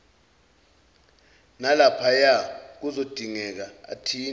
nalaphaya kuzodingeka athinte